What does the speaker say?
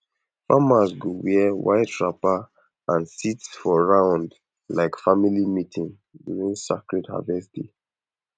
farmers go wear white wrapper and sit for round like family meeting during sacred rest day